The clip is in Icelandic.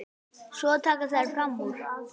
Svo taka þær fram úr.